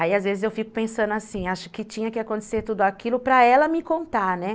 Aí, às vezes, eu fico pensando assim, acho que tinha que acontecer tudo aquilo para ela me contar, né.